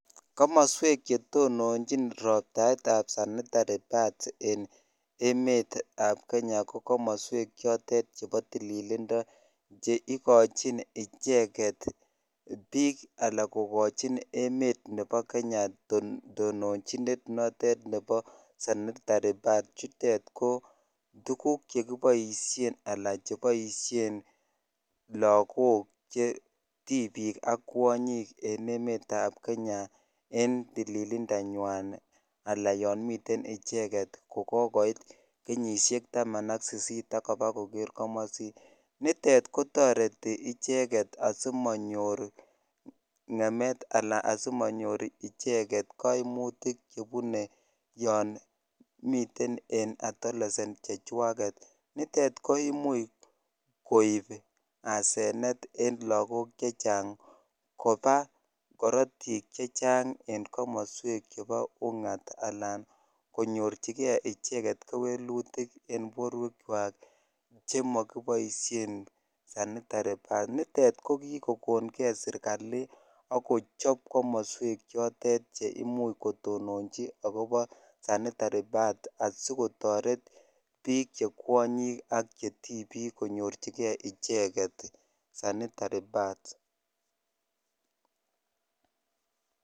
Komasweek chetononchiin roptaeet ap sanitari pads ko kimastaa ap tililindaap chei kachin ichegeet piik anan kokachii piik chepo emet ap kenyaa anan ko lagook ak tipiik eng emet ap kenyaa anan ko lagook chekioiit kenyinyeesheek ap taman ak sisit nitok koimuch koiip asenet ak kopaa karatiik eng kimastaa ap unyitiik nitok kikomuch serikaliitnkotononchii nkimasatak